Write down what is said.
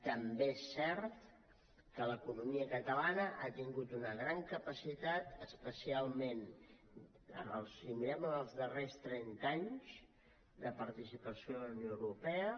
també és cert que l’economia catalana ha tingut una gran capacitat especialment si mirem en els darrers trenta anys de participació en la unió europea